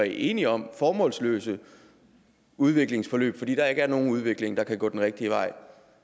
enige om formålsløse udviklingsforløb fordi der ikke er nogen udvikling der kan gå den rigtige vej